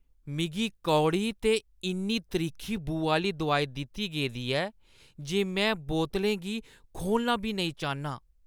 मिगी कौड़ी ते इन्नी त्रिक्खी बू आह्‌ली दोआई दित्ती गेदी ऐ जे में बोतलें गी खोह्‌लना बी नेईं चाह्न्नां।